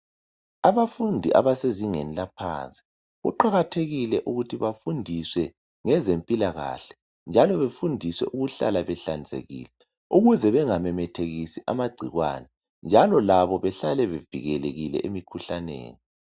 Abafundi abasezingeni laphansi kuqakathekile ukuthi befundiswe ngezempilakahle njalo befundiswe ukuhlala behlanzekile ukuze bengamemethekisi amagcikwane njalo labo behlale bevikelekile emkhuhlaneni.